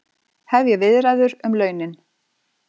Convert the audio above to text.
Hefja viðræður um launin